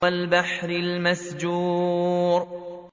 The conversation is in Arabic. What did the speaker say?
وَالْبَحْرِ الْمَسْجُورِ